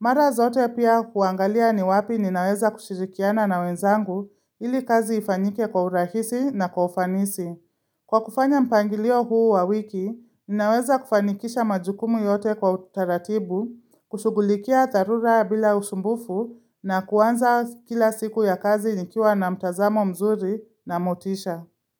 Mara zote pia kuangalia ni wapi ninaweza kushirikiana na wenzangu ili kazi ifanyike kwa urahisi na kwa ufanisi. Kwa kufanya mpangilio huu wa wiki, ninaweza kufanikisha majukumu yote kwa utaratibu, kushughulikia dharura bila usumbufu na kuanza kila siku ya kazi nikiwa na mtazamo mzuri na motisha.